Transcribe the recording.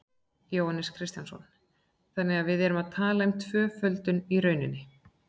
Jóhannes Kristjánsson: Þannig að við erum að tala um tvöföldun í rauninni?